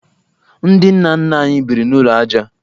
Ndị nna nna anyị biri n'ụlọ ajá